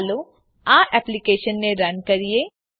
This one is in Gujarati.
ચાલો આ એપ્લીકેશનને રન કરીએ